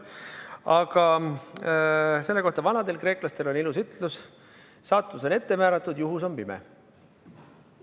Aga selle kohta on vanadel kreeklastel ilus ütlus: saatus on ette määratud, juhus on pime.